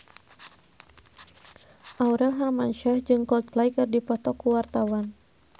Aurel Hermansyah jeung Coldplay keur dipoto ku wartawan